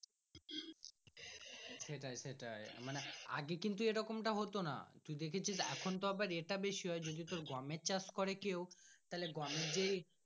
সেটাই সেটাই মানে আগে কিন্তু এরকম টা হতো না তুই দেখেছিস এখন তো এটা বেশি হয় যদি তোর গমের চাষ করে কেউ তাহলে গমের।